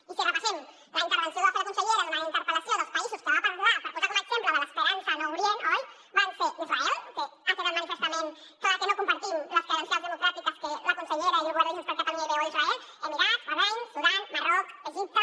i si repassem la intervenció que va fer la consellera durant la interpel·lació dels països de què va parlar per posar com a exemple de l’esperança en orient oi van ser israel que ha quedat manifestament clar que no compartim les credencials democràtiques que la consellera i el govern de junts per catalunya hi veuen a israel emirats bahrain sudan marroc egipte